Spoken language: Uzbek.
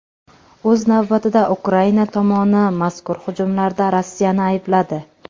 O‘z navbatida, Ukraina tomoni mazkur hujumlarda Rossiyani aybladi .